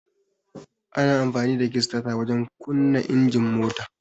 Ana amfani da kistata wajen kunna injin mota.